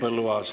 Henn Põlluaas.